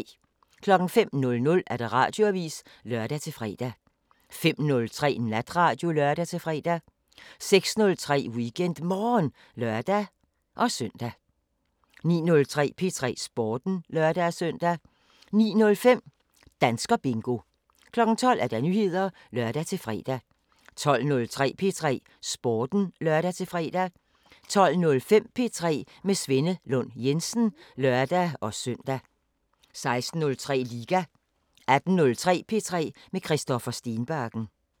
05:00: Radioavisen (lør-fre) 05:03: Natradio (lør-fre) 06:03: WeekendMorgen (lør-søn) 09:03: P3 Sporten (lør-søn) 09:05: Danskerbingo 12:00: Nyheder (lør-fre) 12:03: P3 Sporten (lør-fre) 12:05: P3 med Svenne Lund Jensen (lør-søn) 16:03: Liga 18:03: P3 med Christoffer Stenbakken